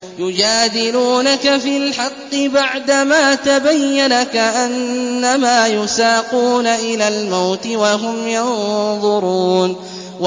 يُجَادِلُونَكَ فِي الْحَقِّ بَعْدَمَا تَبَيَّنَ كَأَنَّمَا يُسَاقُونَ إِلَى الْمَوْتِ وَهُمْ يَنظُرُونَ